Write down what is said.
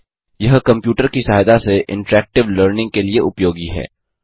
यह कंप्यूटर की सहायता से इंटरैक्टिव लर्निंग के लिए उपयोगी है